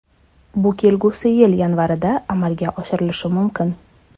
Bu kelgusi yil yanvarida amalga oshirilishi mumkin.